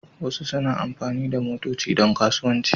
Wasu suna amfani da motoci don kasuwanci.